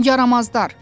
Yaramazlar.